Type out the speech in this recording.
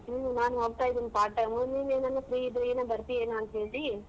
ಹ್ಮ್ ನಾನ್ ಹೋಗ್ತಾ ಇದೀನ್ part time ನೀನ್ ಏನನ free ಇದ್ರೆ ನೀನು ಬರ್ತಿಯೇನೋ ಅಂತ್ ಹೇಳಿ.